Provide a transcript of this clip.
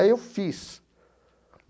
Aí eu fiz.